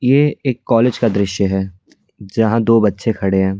ये एक कॉलेज का दृश्य है जहां दो बच्चे खड़े हैं.